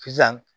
Sisan